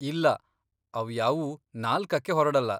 ಇಲ್ಲ, ಅವ್ಯಾವೂ ನಾಲ್ಕಕ್ಕೆ ಹೊರ್ಡಲ್ಲ.